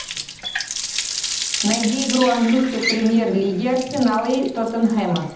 найди игру английской премьер лиги арсенала и тоттенхэма